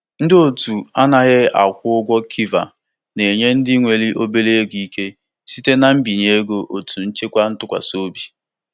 Ọtụtụ ndị mmadụ na-atụgharị gaa na otu nchekwa ego atụkwasịrị obi dịka nhọrọ ọzọ maka itinye obere ego.